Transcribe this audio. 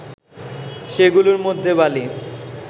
সেগুলোর মধ্যে বালি